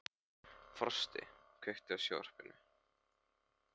Frosti, kveiktu á sjónvarpinu.